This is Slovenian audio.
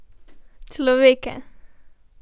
Človeka!